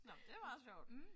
Nåh det er meget sjovt